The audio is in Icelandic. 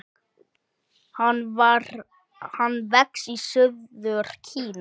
Hann vex í suður Kína.